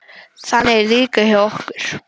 Þannig er það líka hjá okkur.